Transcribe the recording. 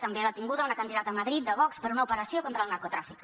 també detinguda una candidata a madrid de vox per una operació contra el narcotràfic